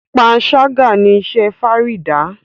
panṣaga ní iṣé Farida.